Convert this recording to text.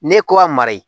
Ne ko a mara ye